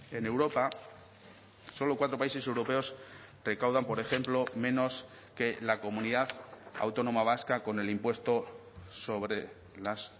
en europa solo cuatro países europeos recaudan por ejemplo menos que la comunidad autónoma vasca con el impuesto sobre las